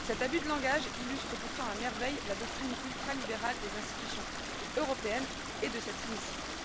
Cet abus de langage illustre pourtant à merveille la doctrine ultralibérale des institutions européennes et de cet hémicycle.